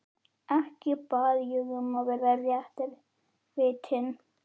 Ekki bað ég um að vera réttarvitni.